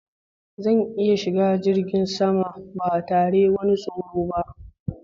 Zan iya shiga jirgin sama ba tare wani tsoro ba.